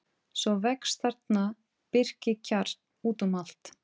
Svo vex þarna birkikjarr út um allt.